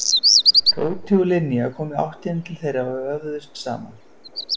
Tóti og Linja komu í áttina til þeirra og vöfðust saman.